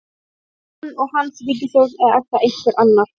Er það hann og hans ríkisstjórn eða er það einhver annar?